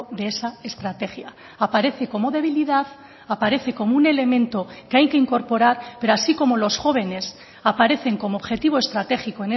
de esa estrategia aparece como debilidad aparece como un elemento que hay que incorporar pero así como los jóvenes aparecen como objetivo estratégico